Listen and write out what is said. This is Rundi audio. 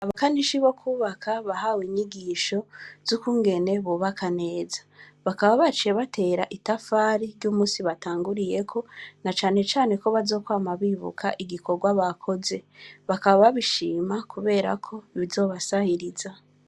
Abakanishi bo kubaka bahawe inyigisho z'ukungene bokubaka neza. Bakaba baciye batera itafari ry'umusi batanguriye ko na cane cane ko bazokwama bibuka igikorwa bakoze. Bakaba babishima kubera ko bizobasahiriza.